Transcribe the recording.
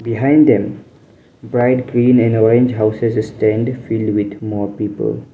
behind them bright clean and orange houses stand filled with more people.